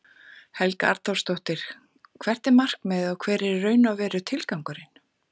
Helga Arnardóttir: Hvert er markmiðið og hver er í raun og veru tilgangurinn?